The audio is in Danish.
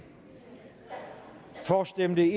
for stemte